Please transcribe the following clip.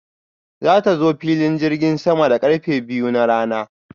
Za ta zo filin jirgin sama da karfe biyu na rana.